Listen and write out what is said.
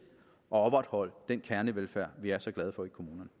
opretholde den kernevelfærd i vi er så glade for